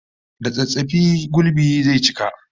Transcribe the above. Da tsattsafi gulbi zai cika